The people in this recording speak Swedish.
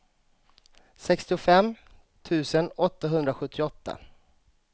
sextiofem tusen åttahundrasjuttioåtta